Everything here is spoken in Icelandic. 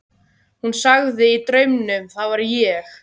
Hún sagði í draumnum: Það var ég.